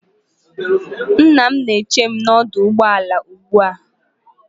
Nna m na-eche m n'ọdụ ụgbọ ala ugbu a